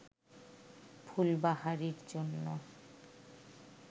ফুলবাহারির জন্য